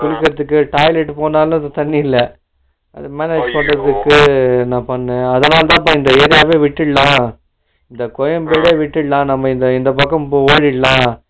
குளிக்கறதுக்கு toilet போனாலும் தண்ணி இல்ல அதனாலதாப்ப இந்த area வெ விட்டுரலாம் இந்த கோயம்பேடே விட்டுரலாம் நம்ம இந்த இந்த பக்கம் ஓடிறலாம்